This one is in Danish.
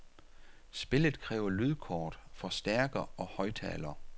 Spillet kræver lydkort, forstærker og højttaler.